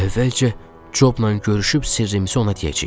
Əvvəlcə Cobla görüşüb sirrimizi ona deyəcəyik.